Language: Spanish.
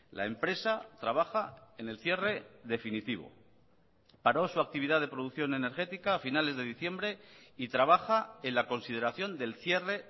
la empresa trabaja en el cierre definitivo paró su actividad de producción energética a finales de diciembre y trabaja en la consideración del cierre